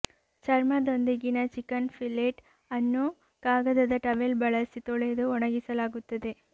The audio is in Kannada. ಚರ್ಮದೊಂದಿಗಿನ ಚಿಕನ್ ಫಿಲೆಟ್ ಅನ್ನು ಕಾಗದದ ಟವೆಲ್ ಬಳಸಿ ತೊಳೆದು ಒಣಗಿಸಲಾಗುತ್ತದೆ